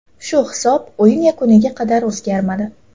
Shu hisob o‘yin yakuniga qadar o‘zgarmadi.